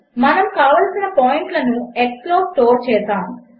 మనము కావలసిన పాయింట్లను x లో స్టోర్ చేసాము